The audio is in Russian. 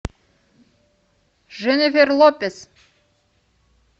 дженнифер лопез